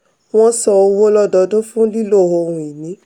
wọ́n san owó lododun fún lílo ohun-ìní.